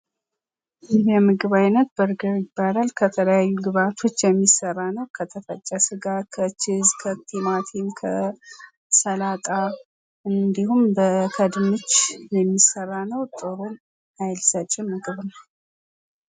ይህ የምግብ አይነት በርገር ይባላል። ከተለያዩ ግብአቶች የሚሰራ ነው። ከተፈጨ ስጋ ከችዝ ከቲማቲም ከሰላጣ እንዲሁም ከድንች የሚሰራ ነው። ጥሩም ሀይል ሰጭም ምግብ ነው።